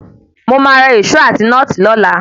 Mo máa ra Ìṣó àti nọ́ọ̀tì lọ́la.